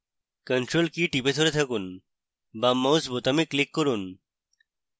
ctrl key টিপে ধরে থাকুন বাম mouse বোতামে click করুন